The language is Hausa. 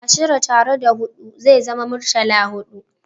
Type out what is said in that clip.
Ashirin tare da hudu ze zama muritala-hudu